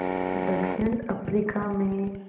दक्षिण अफ्रीका में